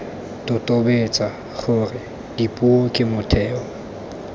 totobetse gore dipuo ke motheo